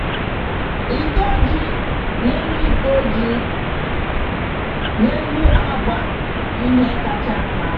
Ịkọ ji n'elu Ịkọ ji n'elu agba ihe kacha nma.